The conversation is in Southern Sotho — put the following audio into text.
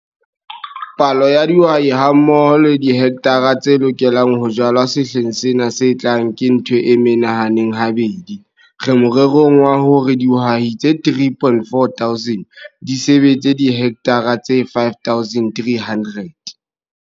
Palo ya dihwai hammoho le dihekthara tse lokelang ho jalwa sehleng sena se tlang ke ntho e menahaneng habedi re morerong wa hore dihwai tse 3400 di sebetse dihekthara tse 5300.